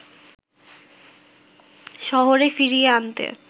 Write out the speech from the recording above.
শহরে ফিরিয়ে আনতে